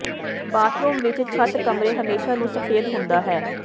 bathroom ਵਿਚ ਛੱਤ ਕਮਰੇ ਹਮੇਸ਼ਾ ਨੂੰ ਸਫੈਦ ਹੁੰਦਾ ਹੈ